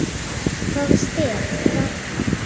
Hvaða stef var það?